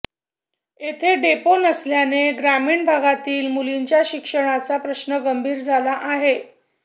येथे डेपो नसल्याने ग्रामीण भगातील मुलींच्या शिक्षणाचा प्रश्न गंभीर झाला आहे